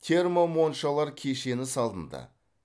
термо моншалар кешені салынды